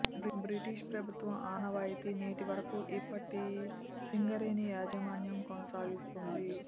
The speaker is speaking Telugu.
బ్రిటిష్ ప్రభుత్వం ఆనవాయితీ నేటి వరకు ఇప్పటి సింగరేణి యాజమాన్యం కొనసాగిస్తుంది